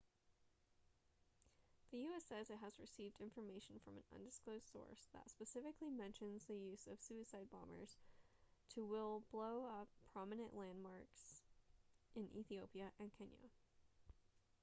the u.s. says it has received information from an undisclosed source that specifically mentions the use of suicide bombers to will blow up prominent landmarks in ethiopia and kenya